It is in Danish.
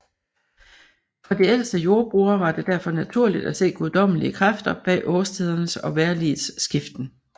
For de ældste jordbrugere var det derfor naturligt at se guddommelige kræfter bag årstidernes og vejrligets skiften